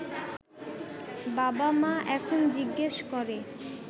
বাবা-মা এখন জিজ্ঞেস করে